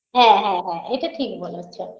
হ্যাঁ হ্যাঁ হ্যাঁ এটা ঠিক বলেছো